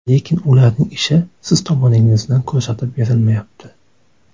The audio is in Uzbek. Lekin ularning ishi siz tomoningizdan ko‘rsatib berilmayapti.